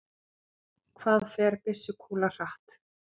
Hvað fer byssukúla hratt?